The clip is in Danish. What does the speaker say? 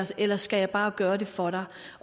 eller skal jeg bare gøre det for dig